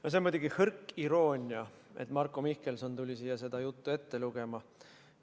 No see on muidugi hõrk iroonia, et Marko Mihkelson tuli siia seda juttu ette lugema.